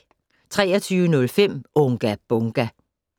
23:05: Unga Bunga!